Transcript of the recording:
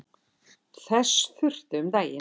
Þess þurfti um daginn.